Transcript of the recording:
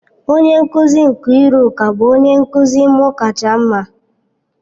Onye nkuzi Nkiruka bụ onye nkuzi m kacha mma.